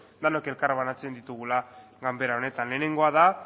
denok elkar banatzen ditugula ganbera honetan lehengoa da